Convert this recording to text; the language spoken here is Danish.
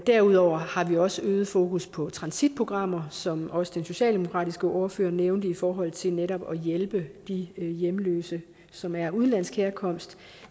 derudover har vi også et øget fokus på transitprogrammer som også den socialdemokratiske ordfører nævnte i forhold til netop at hjælpe de hjemløse som er af udenlandsk herkomst